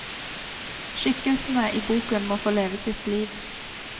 Skikkelsene i boken må få leve sitt liv.